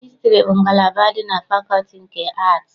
Hịstrị bụ ngalaba dị na fakọlti nke Aatị.